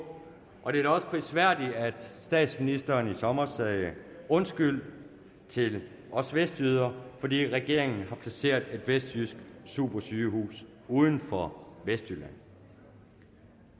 og det er da også prisværdigt at statsministeren i sommer sagde undskyld til os vestjyder fordi regeringen har placeret et vestjysk supersygehus uden for vestjylland